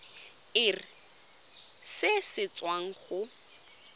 irp se se tswang go